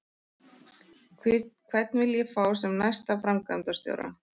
Hvern vil ég fá sem næsta framkvæmdastjóra?